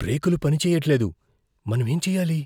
బ్రేకులు పని చెయ్యట్లేదు. మనమేం చెయ్యాలి?